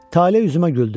Tale üzümə güldü.